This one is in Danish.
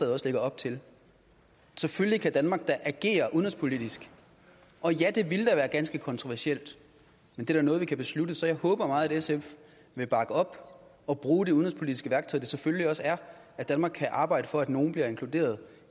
også lægger op til selvfølgelig kan danmark da agere udenrigspolitisk og ja det ville da være ganske kontroversielt men det er da noget vi kan beslutte så jeg håber meget at sf vil bakke op og bruge det udenrigspolitiske værktøj det selvfølgelig også er at danmark kan arbejde for at nogle bliver inkluderet